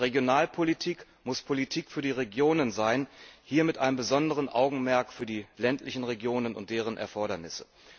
Und Regionalpolitik muss Politik für die Regionen sein, hier mit einem besonderen Augenmerk für die ländlichen Regionen und deren Erfordernisse.